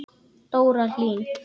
Dóra Hlín.